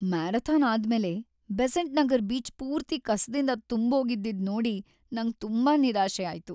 Marathon ಆದ್ಮೇಲೆ Besant Nagar beach ಪೂರ್ತಿ ಕಸದಿಂದ ತುಂಬೋಗಿದ್ದಿದ್‌ ನೋಡಿ ನಂಗ್ ತುಂಬಾ ನಿರಾಶೆ ಆಯ್ತು.